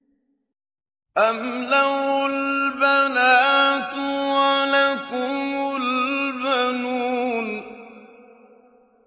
أَمْ لَهُ الْبَنَاتُ وَلَكُمُ الْبَنُونَ